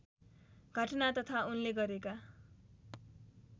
घटना तथा उनले गरेका